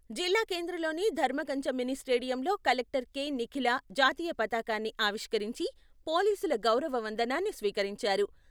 జిల్లా కేంద్రంలోని ధర్మకంచ మినీ స్టేడియంలో కలెక్టర్ కె.నిఖిల జాతీయ పతాకాన్ని ఆవిష్కరించి పోలీసుల గౌరవ వందనాన్ని స్వీకరించారు.